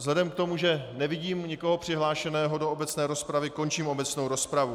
Vzhledem k tomu, že nevidím nikoho přihlášeného do obecné rozpravy, končím obecnou rozpravu.